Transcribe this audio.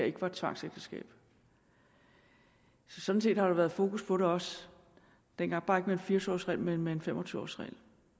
ikke var et tvangsægteskab så sådan set har der været fokus på det også dengang bare ikke med en fire og tyve års regel men med en fem og tyve års regel